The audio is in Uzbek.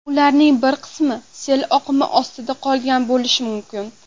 Ularning bir qismi sel oqimi ostida qolgan bo‘lishi mumkin.